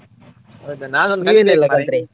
ಹೌದಾ ನಾನ್ ಒಂದ್ ಕಲಿಬೇಕು ಮಾರ್ರೆ.